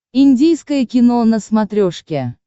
индийское кино на смотрешке